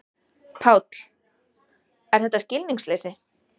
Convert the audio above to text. Páll: Er þetta skilningsleysi?